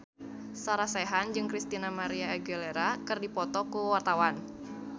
Sarah Sechan jeung Christina María Aguilera keur dipoto ku wartawan